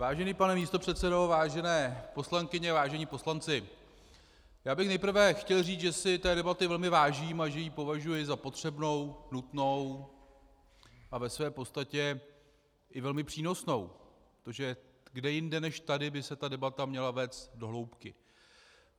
Vážený pane místopředsedo, vážené poslankyně, vážení poslanci, já bych nejprve chtěl říci, že si té debaty velmi vážím a že ji považuji za potřebnou, nutnou a ve své podstatě i velmi přínosnou, protože kde jinde než tady by se ta debata měla vést do hloubky.